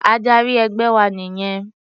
Adarí ẹgbẹ́ wa nìyẹn.